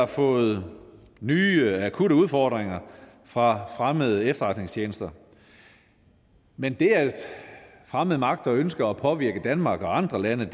har fået nye akutte udfordringer fra fremmede efterretningstjenester men det at fremmede magter ønsker at påvirke danmark og andre lande